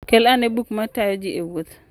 Kel ane buk ma tayo ji e wuoth.